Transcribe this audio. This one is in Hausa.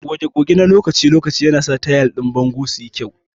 Goge goge na lokaci-lokaci yanasa tayal din bango su yi kyau.